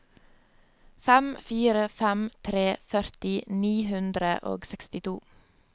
fem fire fem tre førti ni hundre og sekstito